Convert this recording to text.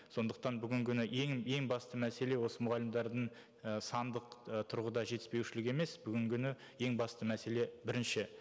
сондықтан бүгінгі күні ең ең басты мәселе осы мұғалімдердің і сандық ы тұрғыда жетіспеушілігі емес бүгінгі күні ең басты мәселе бірінші